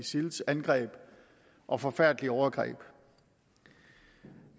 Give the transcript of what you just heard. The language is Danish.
isils angreb og forfærdelige overgreb jeg